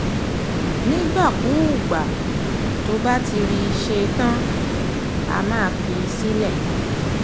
nígbàkugbà tó bá ti rí i ṣe tán á máa fi í sílẹ̀